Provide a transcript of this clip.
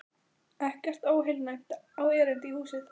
Ekkert óheilnæmt á erindi í húsið.